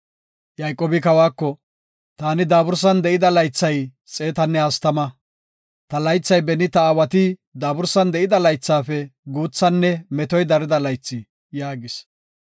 Yayqoobi kawako, “Taani daabursan de7ida laythay xeetanne hastama. Ta laythay beni ta aawati daabursan de7ida laythafe guuthanne metoy darida laythi” yaagis.